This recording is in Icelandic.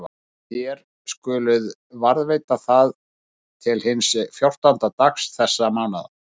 Og þér skuluð varðveita það til hins fjórtánda dags þessa mánaðar.